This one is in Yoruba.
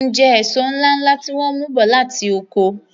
M jẹ èso ńláńlá tí wọ́n mú bọ̀ láti oko.